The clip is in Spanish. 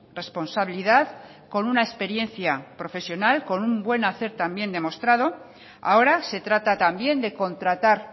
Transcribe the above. responsabilidad con una experiencia profesional con un buen hacer también demostrado ahora se trata también de contratar